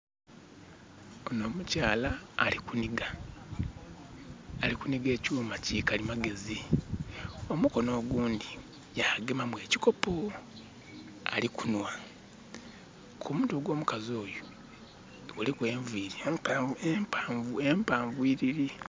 Onho omukyala ali kunhiga, ali kunhiga ekyuuma ki kalimagezi, omukono ogundhi yagema mu ekikopo, ali kunhwa. Ku mutwe ogw'omukazi oyo, kuliku enviri empaanvu, empaanvu, empaanvuyiriri.